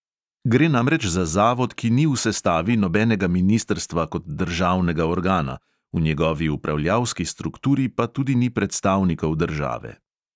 Gre namreč za zavod, ki ni v sestavi nobenega ministrstva kot državnega organa, v njegovi upravljalski strukturi pa tudi ni predstavnikov države.